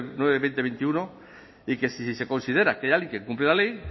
nueve barra dos mil veintiuno y que si se considera que alguien incumplió la ley